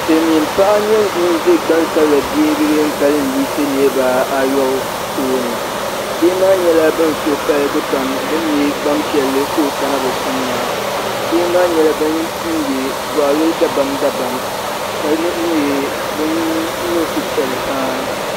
Silmiin paɣa n nyɛ ŋun ʒɛ gbansabila bihi bin kalinli yiɣisi niraba ayobu tooni bihi maa nyɛla bin suhu paligi pam bi ni nyɛ Gbanpiɛli ka o kana bi sani maa bihi maa nyɛla bin yɛ goɣali dabam dabam ka nyɛ bin niŋ suhupiɛlli paa